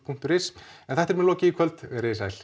punktur is en þættinum er lokið í kvöld verið þið sæl